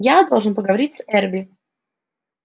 я должен поговорить с эрби